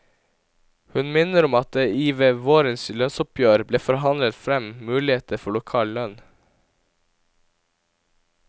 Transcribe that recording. Hun minner om at det i ved vårens lønnsoppgjør ble forhandlet frem muligheter for lokal lønn.